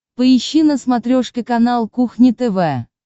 поищи на смотрешке канал кухня тв